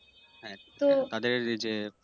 হ্যাঁ তাদের এইযে